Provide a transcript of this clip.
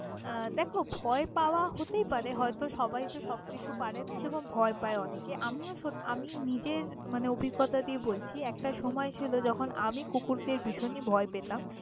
আহ দেখ ভয় পাওয়া হতেই পারে হয়ত সবাই সব কিছু পারে না যেমন ভয় পায় অনেকে, আমিও সত্যি আমি নিজের অভিজ্ঞতা দিয়ে বলছি একটা সময় ছিল যখন আমি কুকুরদের ভীষণই ভয় পেতাম।